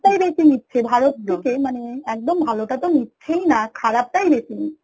টাই বেশি নিচ্ছে ভালোর থেকে মানে একদম ভালোটা তো নিচ্ছে না খারাপটাই বেশি